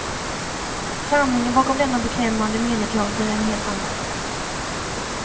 Sanningen bakom denna beklämmande mediateater är en helt annan.